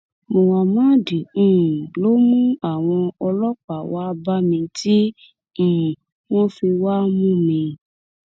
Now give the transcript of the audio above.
muhammad um ló mú àwọn ọlọpàá wàá bá mi tí um wọn fi wàá mú mi